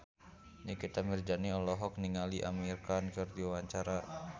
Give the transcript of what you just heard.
Nikita Mirzani olohok ningali Amir Khan keur diwawancara